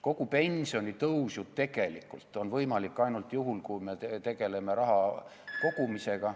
Kogu pensionitõus on tegelikult ju võimalik ainult juhul, kui me tegeleme raha kogumisega ...